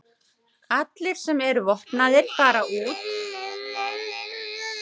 Allir sem eru vopnaðir fara út og hinir kaupa bollur fyrir þá.